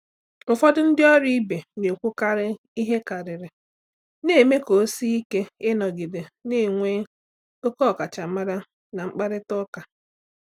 Ụfọdụ ndị ọrụ ibe na-ekwukarị ihe karịrị, na-eme ka ọ sie ike ịnọgide na-enwe ókè ọkachamara na mkparịta ụka.